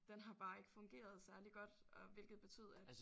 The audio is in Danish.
Den har bare ikke fungeret særlig godt og hvilket betød at